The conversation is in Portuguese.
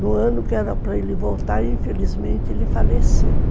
No ano que era para ele voltar, infelizmente, ele faleceu.